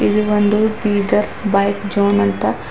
ಇಲ್ಲಿ ಒಂದು Bidar bike zone ಅಂತ.